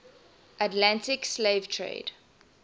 atlantic slave trade